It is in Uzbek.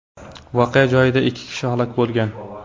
Voqea joyida ikki kishi halok bo‘lgan.